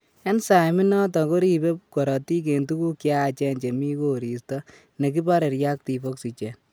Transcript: Enzyme inatan koribe korotik en tuguk cheyachen chemi koristo negibare reactive oxygen